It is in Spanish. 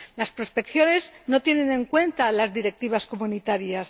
Las prospecciones no tienen en cuenta las directivas comunitarias.